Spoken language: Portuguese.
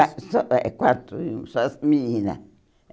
Ah só É quatro, só menina.